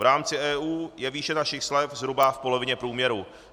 V rámci EU je výše našich slev zhruba v polovině průměru.